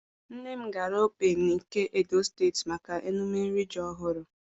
Nne m gara Okpe, nke Edo Steeti maka emume iri ji ọhụrụ.